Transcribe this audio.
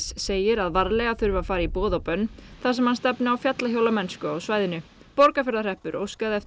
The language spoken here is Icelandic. segir að varlega þurfi að fara í boð og bönn þar sem hann stefni á fjallahjólamennsku á svæðinu Borgarfjarðarhreppur óskaði eftir